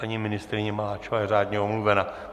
Paní ministryně Maláčová je řádně omluvena.